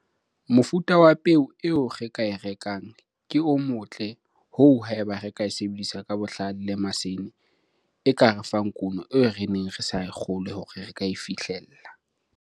Mofuta wa peo eo re ka e rekang ke o motle hoo haeba re ka e sebedisa ka bohlale le masene e ka re fang kuno eo re neng re sa kgolwe hore re ka e fihlella.